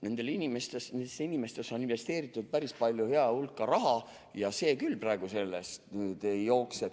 Nendesse inimestesse on investeeritud päris hea hulk raha.